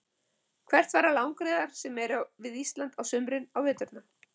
Hvert fara langreyðar sem eru við Ísland á sumrin á veturna?